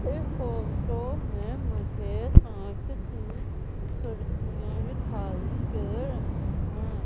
इस फोटो में मुझे कांच की खिड़कियां दिखाई दे रही हैं।